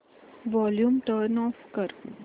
volume turn off कर